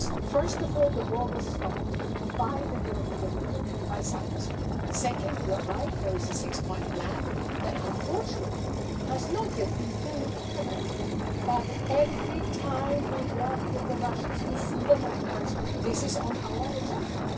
First of all, the war was stopped by the European Union and by Mr Sarkozy. Second, you are right, there is a six point plan which, unfortunately, has not yet been fully implemented, but every time we work with the Russians, this is on our agenda.